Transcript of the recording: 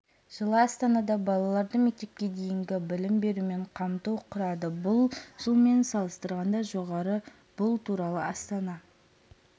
жылы астанада балаларды мектепке дейінгі білім берумен қамту құрады бұл жылмен салыстырғанда жоғары бұл туралы астана